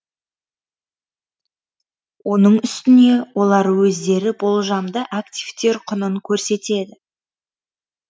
оның үстіне олар өздері болжамды активтер құнын көрсетеді